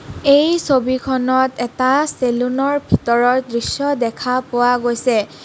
এই ছবিখনত এটা চেলুন ৰ ভিতৰৰ দৃশ্য দেখা পোৱা গৈছে।